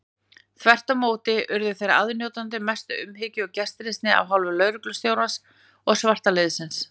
Þvert á móti urðu þeir aðnjótandi mestu umhyggju og gestrisni af hálfu lögreglustjórans og svartliðsins.